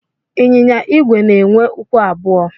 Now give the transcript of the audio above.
Ịnyịnya igwe na-enwe ụkwụ abụọ.